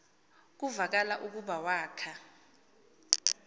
kuvakala ukuba wakha